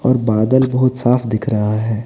और बादल बहुत साफ दिख रहा है।